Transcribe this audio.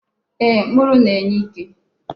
Ee, mkpụrụ na-enye ike.